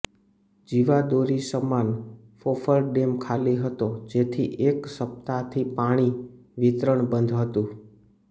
જીવાદોરી સમાન ફોફળ ડેમ ખાલી હતો જેથી એક સપ્તાહથી પાણ વિતરણ બંધ હતું